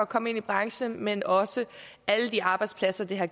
komme ind i branchen men også alle de arbejdspladser det har